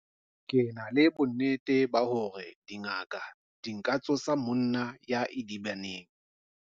Ke na le bonnete ba hore dingaka di ka tsosa monna ya idibaneng.